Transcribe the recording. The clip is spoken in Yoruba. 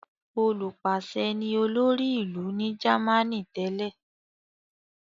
Olùpàṣẹ ni olórí ìlú ní Jámánì tẹ́lẹ̀.